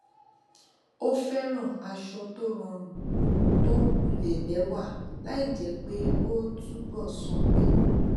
ó fẹràn aṣọ tó rọrùn tó wulẹ lẹwà láì jẹ pé ó túbò sànmí